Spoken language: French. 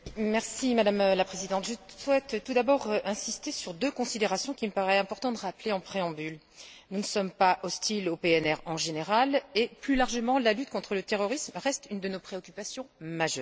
Madame la Présidente, je souhaite tout d'abord insister sur deux considérations qu'il me paraît important de rappeler en préambule nous ne sommes pas hostiles au PNR en général et, plus largement, la lutte contre le terrorisme reste une de nos préoccupations majeures.